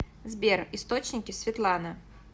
сбер источники светлана